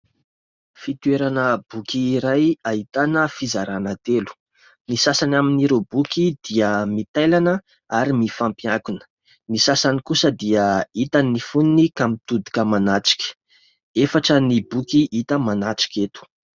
Fitoerana boky iray ahitana fizarana telo. Ny sasany amin'ireo boky dia mitailana ary mifampiankina ; ny sasany kosa dia hita ny fonony ka mitodika manatrika. Efatra ny boky hita manatrika eto.